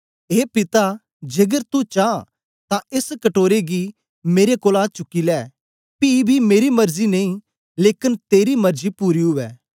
ए पिता जेकर तू चां तां एस कटोरे गी मेरे कोलां चुकी लै पी बी मेरी मरजी नेई लेकन तेरी मरजी पूरी उवै